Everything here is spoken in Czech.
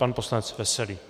Pan poslanec Veselý.